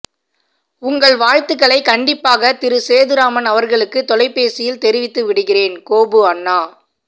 உங்கள் வாழ்த்துக்களை கண்டிப்பாக திரு சேதுராமன் அவர்களுக்கு தொலைபேசியில் தெரிவித்து விடுகிறேன் கோபு அண்ணா